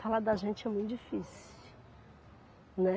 Falar da gente é muito difícil, né.